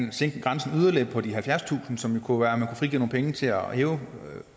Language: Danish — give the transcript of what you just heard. at sænke grænsen på de halvfjerdstusind som jo kunne frigive nogle penge til at hæve